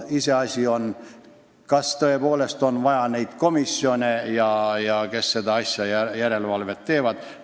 Iseasi on, kas tõepoolest on vaja neid komisjone, kes seda järelevalvet teevad.